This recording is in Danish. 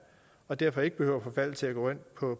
og derfor ikke behøver at forfalde til at gå ind